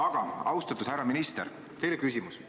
Aga, austatud härra minister, mul on teile küsimus.